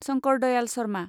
Shankar Dayal Sharma